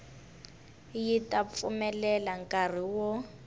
yi ta pfumelela nkari wo